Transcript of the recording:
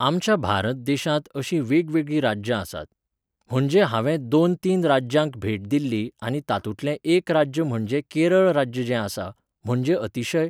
आमच्या भारत देशांत अशीं वेगवेगळीं राज्यां आसात. म्हणजे हांवें दोन तीन राज्यांक भेट दिल्ली आनी तातूंतलें एक राज्य म्हणजे केरळ राज्य जें आसा, म्हणजे अतिशय